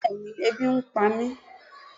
bẹẹni ebí n pámi